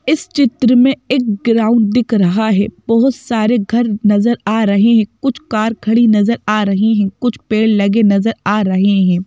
इस चित्र में एक ग्राउंड दिख रहा है बोहोत सारे घर नज़र आ रहे हैं कुछ कार खड़ी नज़र आ रही हैं कुछ पेड़ लगे नज़र आ रहे हैं।